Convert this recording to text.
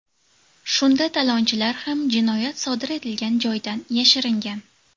Shunda talonchilar ham jinoyat sodir etilgan joydan yashiringan.